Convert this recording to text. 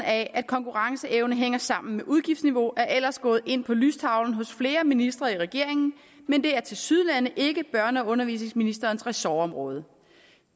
af at konkurrenceevne hænger sammen med udgiftsniveau er ellers gået ind på lystavlen hos flere ministre i regeringen men det er tilsyneladende ikke børne og undervisningsministerens ressortområdet